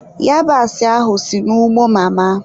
Yabasị ahụ si n'ugbo mama.